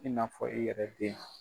I n'a fɔ i yɛrɛ den.